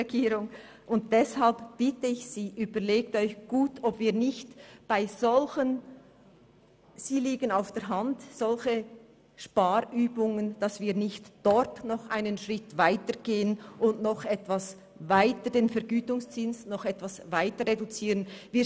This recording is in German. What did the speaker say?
Deshalb bitte ich Sie, es sich gut zu überlegen, ob wir bei solchen Sparübungen nicht noch einen Schritt weitergehen und den Vergütungszins etwas mehr reduzieren wollen.